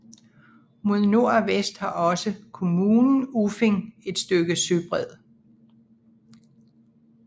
Mod nord og vest har også kommunen Uffing et stykke søbred